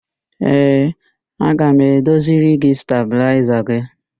Ee, aga m edoziri gị stabịlaịza gị.